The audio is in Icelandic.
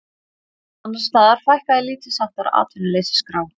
Annars staðar fækkaði lítilsháttar á atvinnuleysisskrá